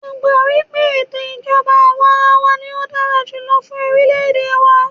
Mó gbà wípé ètò ìjọbá àwàrawa ní o dára jùlọ fún orilẹ ède wa.